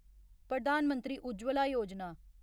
Pradhan Mantri Ujjwala Yojana